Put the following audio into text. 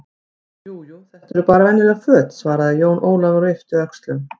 Jú, jú, þetta eru bara venjuleg föt, svaraði Jón Ólafur og yppti öxlum.